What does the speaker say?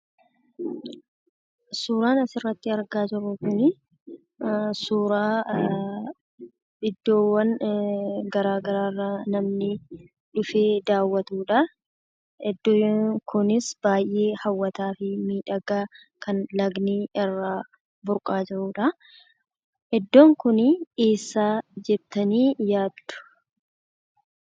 Suuraan asirratti argaa jirru Kunii, suuraa iddoowwan garaagaraa irraa namni dhufee daawwatuudhaa, iddoon kunis baayyee hawwataa fi miidhagaa ,kan lagni irraa burqaa jirudhaa. iddoon kunii, eessaa jettanii yaaddu?